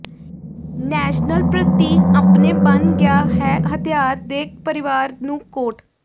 national ਪ੍ਰਤੀਕ ਆਪਣੇ ਬਣ ਗਿਆ ਹੈ ਹਥਿਆਰ ਦੇ ਪਰਿਵਾਰ ਨੂੰ ਕੋਟ